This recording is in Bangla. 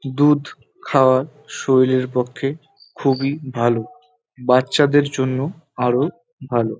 দুধ খাওয়া শরীরের পক্ষে খুবই ভালো বাচ্চাদের জন্য আরও ভালো।